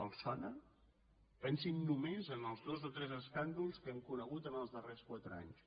els sona pensin només en els dos o tres escàndols que hem conegut en els dar·rers quatre anys